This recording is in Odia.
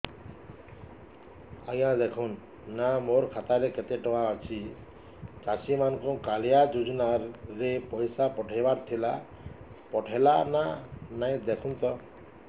ଆଜ୍ଞା ଦେଖୁନ ନା ମୋର ଖାତାରେ କେତେ ଟଙ୍କା ଅଛି ଚାଷୀ ମାନଙ୍କୁ କାଳିଆ ଯୁଜୁନା ରେ ପଇସା ପଠେଇବାର ଥିଲା ପଠେଇଲା ନା ନାଇଁ ଦେଖୁନ ତ